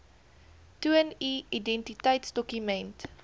toon u identiteitsdokument